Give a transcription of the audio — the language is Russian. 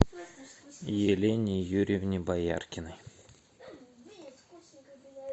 елене юрьевне бояркиной